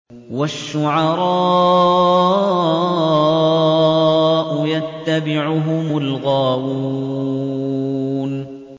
وَالشُّعَرَاءُ يَتَّبِعُهُمُ الْغَاوُونَ